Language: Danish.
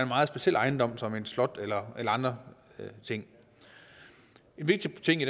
meget speciel ejendom som et slot eller andre ting en vigtig ting i